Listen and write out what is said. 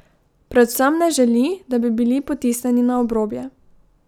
Predvsem ne želi, da bi bili potisnjeni na obrobje.